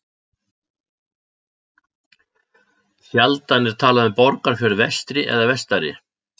Sjaldan er talað um Borgarfjörð vestri eða vestari.